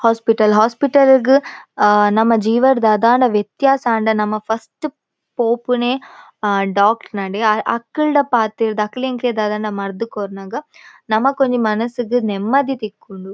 Hospital hospital ಗ್ ಆ ನಮ್ಮ ಜೀವಡ್ ದಾದಾಂಡ ವ್ಯತ್ಯಾಸ ಆಂಡ ನಮ ಫಸ್ಟ್ ಪೋಪುನೆ ಆ ಡಾಕ್ಟ್ರ್ ನಡೆ ಅಕಲ್ಡ ಪಾತೆರ್ದ್ ಅಕುಲು ಎಂಕ್ಲೆಗ್ ದಾದಾಂಡ ಮರ್ದ್ ಕೊರ್ನಗ ನಮಕ್ ಒಂಜಿ ಮನಸ್ ಗ್ ನೆಮ್ಮದಿ ತಿಕ್ಕುಂಡು.